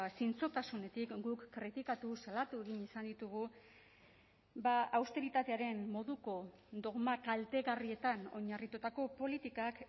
zintzotasunetik guk kritikatu salatu egin izan ditugu austeritatearen moduko dogma kaltegarrietan oinarritutako politikak